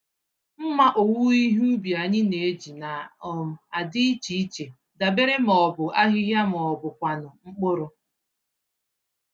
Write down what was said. Mmá owuwe ihe ubi anyị n'eji na um adị iche iche, dabere ma ọ bụ ahịhịa ma ọbụkwanụ mkpụrụ.